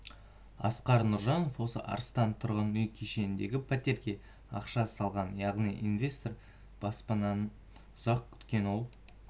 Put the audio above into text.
асқар нұржанов осы арыстан тұрғын үй кешеніндегі пәтерге ақша салған яғни инвестор баспанасын ұзақ күткен ол